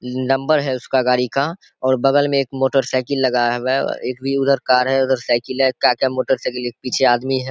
Number है उसका गाड़ी का और बगल में एक मोटरसाइकिल लगाया गया एक भी उधर कार है उधर साइकिल है क्या-क्या मोटरसाइकिल है एक पीछे आदमी है।